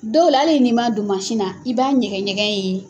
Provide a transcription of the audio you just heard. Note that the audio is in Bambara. Dɔw la nin ma don mansin na i b'a ɲɛgɛɲɛgɛn in ye.